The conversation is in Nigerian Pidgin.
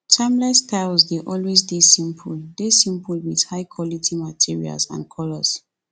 timeless styles dey always dey simple dey simple with high quality materials and color